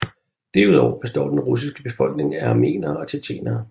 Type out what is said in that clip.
Derudover består den russiske befolkning af armenere og tjetjenere